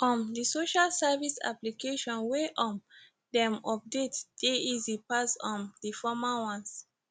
um di social services application wey um dem update dey easy pass um di former ones